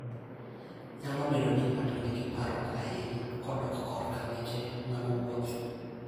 Nyalo bedo ni ng'ato nigi parruok ahinya kodok korka weche mag wuoth.